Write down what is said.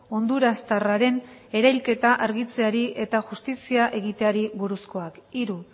hondurastarraren erailketa argitzeari eta justizia egiteari buruzkoa hiru